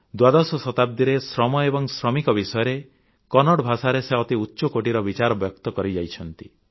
ଦ୍ୱାଦଶ ଶତାବ୍ଦୀରେ ଶ୍ରମ ଏବଂ ଶ୍ରମିକଙ୍କ ବିଷୟରେ କନ୍ନଡ଼ ଭାଷାରେ ସେ ଅତି ଉଚ୍ଚକୋଟୀର ବିଚାର ବ୍ୟକ୍ତ କରିଯାଇଛନ୍ତି